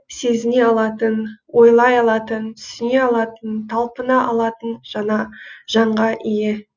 сезіне алатын ойлай алатын түсіне алатын талпына алатын жанға ие